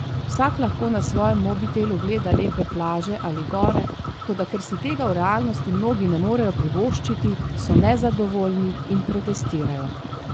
Vsak lahko na svojem mobitelu gleda lepe plaže ali gore, toda ker si tega v realnosti mnogi ne morejo privoščiti, so nezadovoljni in protestirajo.